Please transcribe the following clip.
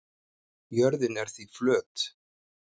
Jörðin er því flöt.